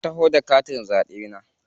Na taho da katin zaɓe na.